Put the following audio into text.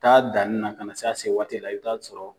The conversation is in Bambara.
Ta danni na ka na se se waati la i bi t'a sɔrɔ